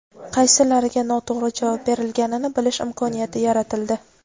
qaysilariga noto‘g‘ri javob berilganini bilish imkoniyati yaratildi.